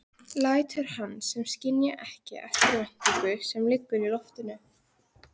Lætur sem hann skynji ekki eftirvæntinguna sem liggur í loftinu.